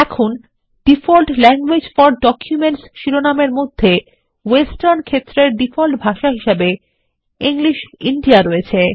এখন default languages for documents শিরোনাম এর মধ্যে ওয়েস্টার্ন ক্ষেত্রেরডিফল্ট ভাষা হিসাবেEnglish ইন্দিয়া রয়েছে